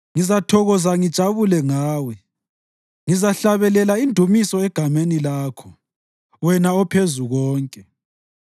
Ngizathokoza ngijabule ngawe, ngizahlabelela indumiso egameni lakho, wena oPhezukonke.